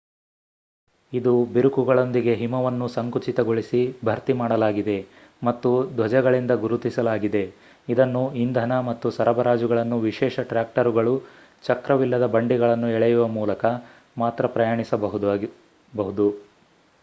ಇದು ಬಿರುಕುಗಳೊಂದಿಗೆ ಹಿಮವನ್ನು ಸಂಕುಚಿತಗೊಳಿಸಿ ಭರ್ತಿ ಮಾಡಲಾಗಿದೆ ಮತ್ತು ಧ್ವಜಗಳಿಂದ ಗುರುತಿಸಲಾಗಿದೆ.ಇದನ್ನು ಇಂಧನ ಮತ್ತು ಸರಬರಾಜುಗಳನ್ನು ವಿಶೇಷ ಟ್ರಾಕ್ಟರುಗಳು, ಚಕ್ರವಿಲ್ಲದ ಬಂಡಿಗಳನ್ನು ಎಳೆಯುವ ಮೂಲಕ ಮಾತ್ರ ಪ್ರಯಾಣಿಸಬಹುದು